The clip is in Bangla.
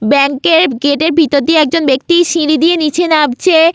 ব্যাংক -এর গেট -এর ভিতর দিয়ে একজন ব্যাক্তি সিড়ি দিয়ে নিচে নাবছে-এ।